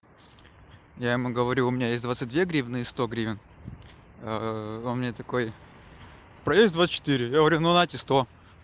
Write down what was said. я ему говорю у меня есть двадцать две гривны и сто гривень он мне такой проезд двадцать четыре говорю ну на сто